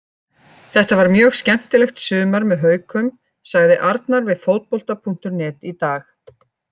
Þetta var mjög skemmtilegt sumar með Haukum, sagði Arnar við Fótbolta.net í dag.